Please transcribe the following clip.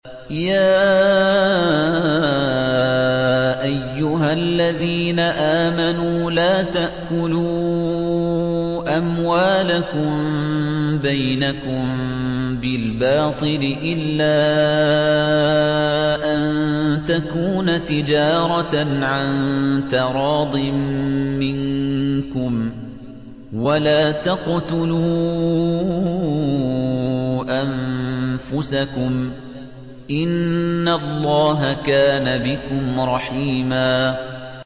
يَا أَيُّهَا الَّذِينَ آمَنُوا لَا تَأْكُلُوا أَمْوَالَكُم بَيْنَكُم بِالْبَاطِلِ إِلَّا أَن تَكُونَ تِجَارَةً عَن تَرَاضٍ مِّنكُمْ ۚ وَلَا تَقْتُلُوا أَنفُسَكُمْ ۚ إِنَّ اللَّهَ كَانَ بِكُمْ رَحِيمًا